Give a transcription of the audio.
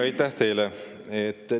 Aitäh teile!